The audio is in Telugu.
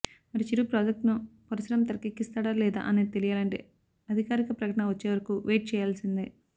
మరి చిరు ప్రాజెక్ట్ ను పరుశురాం తెరకెక్కిస్తాడా లేదా అనేది తెలియాలంటే అధికారిక ప్రకటన వచ్చే వరకు వెయిట్ చేయాల్సిందే